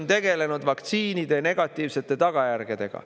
– tegelenud vaktsiinide negatiivsete tagajärgedega.